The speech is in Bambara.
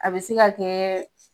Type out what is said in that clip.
A be se ka kɛ